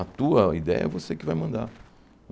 A tua ideia é você que vai mandar.